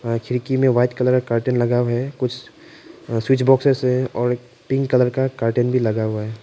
खिड़की में white colour curtain लगा हुआ है कुछ स्विच बॉक्सेस है और पिंक कलर का कर्टेन भी लगा हुआ है।